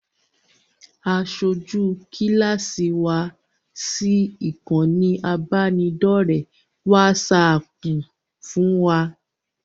Aṣojú kíláàsì wa sí ìkànnì ìbánidọ́ọ̀rẹ́ wásaaàpù fún wa